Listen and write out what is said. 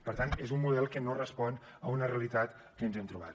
per tant és un model que no respon a una realitat que ens hem trobat